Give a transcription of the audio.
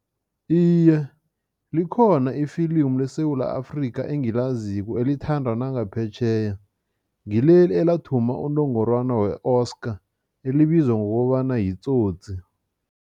Iye, likhona ifilimu leSewula Afrika engilaziko elithandwa nangaphetjheya, ngileli elathumba unongorwana we-Oscar elibizwa ngokobana yiTsotsi.